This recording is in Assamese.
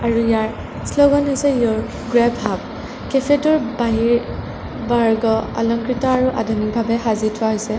আৰু ইয়াৰ শ্লোগান হৈছে ইয়'ৰ গ্ৰেৱ হাব কেফে টোৰ বাহিৰ বাৰ্গ অলংকৃত আৰু আধুনিক ভাবে সাজি থোৱা হৈছে।